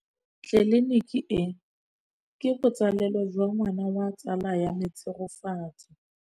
Tleliniki e, ke botsalêlô jwa ngwana wa tsala ya me Tshegofatso.